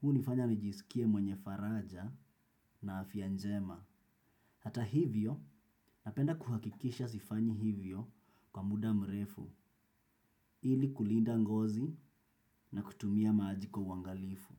hunifanya nijisikie mwenye faraja na afya njema. Hata hivyo, napenda kuhakikisha sifanyi hivyo kwa muda mrefu ili kulinda ngozi na kutumia maji kwa uangalifu.